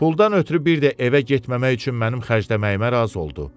Puldan ötrü bir də evə getməmək üçün mənim xərcləməyimə razı oldu.